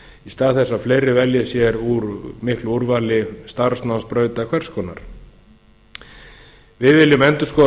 stað þess að fleiri velji sér úr miklu úrvali starfsnámsbrauta hvers konar við viljum endurskoða